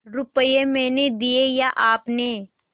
रुपये मैंने दिये या आपने